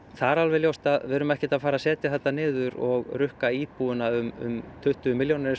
það er alveg ljóst að við erum ekkert að fara að setja þetta niður og rukka íbúana um tuttugu milljónir eins